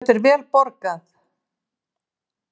Þetta er vel borgað.